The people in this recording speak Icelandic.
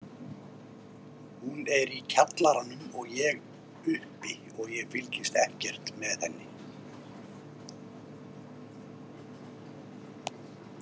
Hún er í kjallaranum og ég uppi og ég fylgist ekkert með henni.